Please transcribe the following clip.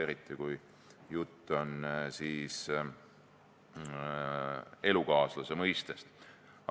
Eriti oli juttu elukaaslase mõistest.